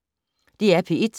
DR P1